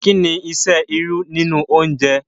Kí ni iṣẹ́ irú nínú oúnjẹ?